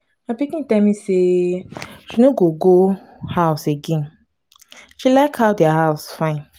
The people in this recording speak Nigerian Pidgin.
my pikin tell me say she no go go house again. she like how their house fine.